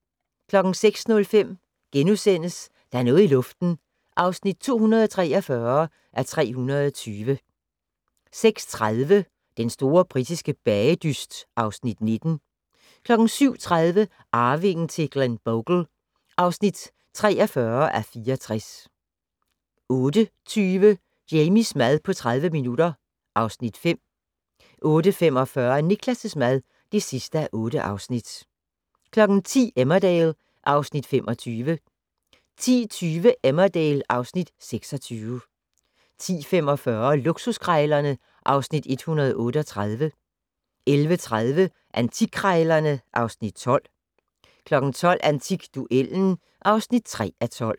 06:05: Der er noget i luften (243:320)* 06:30: Den store britiske bagedyst (Afs. 19) 07:30: Arvingen til Glenbogle (43:64) 08:20: Jamies mad på 30 minutter (Afs. 5) 08:45: Niklas' mad (8:8) 10:00: Emmerdale (Afs. 25) 10:20: Emmerdale (Afs. 26) 10:45: Luksuskrejlerne (Afs. 138) 11:30: Antikkrejlerne (Afs. 12) 12:00: Antikduellen (3:12)